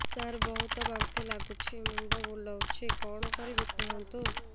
ସାର ବହୁତ ବାନ୍ତି ଲାଗୁଛି ମୁଣ୍ଡ ବୁଲୋଉଛି କଣ କରିବି କୁହନ୍ତୁ